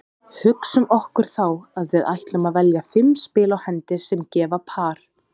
Hugsum okkur þá að við ætlum að velja fimm spil á hendi sem gefa par.